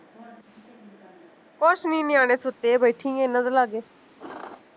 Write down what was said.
ਕੁਸ਼ ਨੀ ਨਿਆਣੇ ਸੁੱਤੇ, ਬੈਠੀ ਆਂ ਏਨਾ ਦੇ ਲਾਗੇ